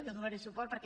jo hi donaré suport perquè